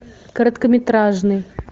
короткометражный